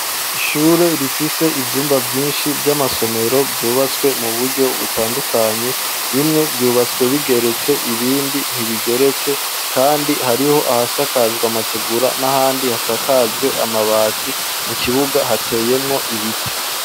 Ishure rifise ivyumba vyinshi vy'amasomero, vyubatswe mu buryo butandukanye bimwe vyubatswe bigeretse, ibindi ntibigeretse, kandi hariho ahasakajwe amategura n'ahandi hasakajwe amabati, mu kibuga hateyemwo ibiti.